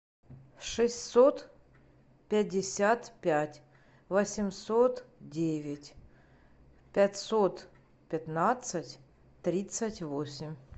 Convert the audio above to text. шестьсот пятьдесят пять восемьсот девять пятьсот пятнадцать тридцать восемь